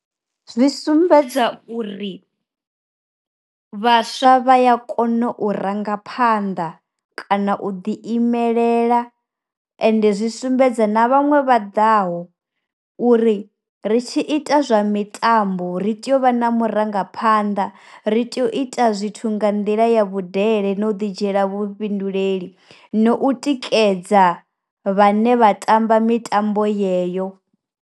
Zwi sumbedza uri, vhaswa vha ya kona u ranga phanda kana u ḓi imelela, ende zwi sumbedza na vhaṅwe vha ḓaho uri ri tshi ita zwa mitambo ri tea u vha na mu rangaphanḓa, ri tea u ita zwithu nga nḓila ya vhudele na u ḓi dzhiela vhufhinduleli, no u tikedza vhane vha tamba mitambo yeyo.